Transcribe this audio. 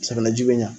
Safinɛji bɛ ɲa